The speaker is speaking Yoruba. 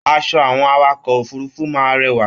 Aṣọ àwọn awakọ̀ òfurùnfu máa n rẹwà.